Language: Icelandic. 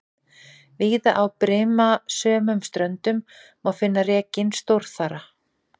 Víða á brimasömum ströndum má finna rekinn stórþara.